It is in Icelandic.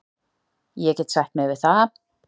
Ég get sætt mig við það.